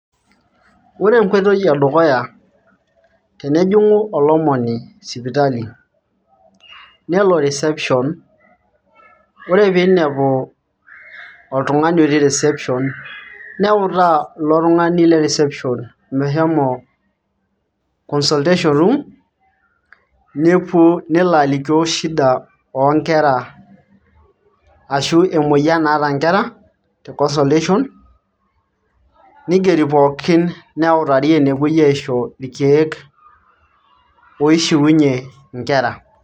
ore enkoitoi edukuya tenejing'u olomoni sipitali nelo reception yiolo piinepu oltung'ani otii reception neutaa ilo tung; ani le reception mehomo consultation room nepuo nelo alikio shida oonkera ashu emoyian naata inkera te consultation nigeri pookin neituri enepuoi aisho irkeek oishiunyie inkera.